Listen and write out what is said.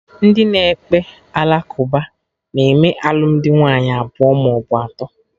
Ndị na ekpe ala kụba na-eme alụmdi nwaanyị abụọ maọbụ atọ